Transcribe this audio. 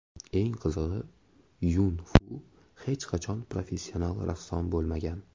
Eng qizig‘i Yun-Fu hech qachon professional rassom bo‘lmagan.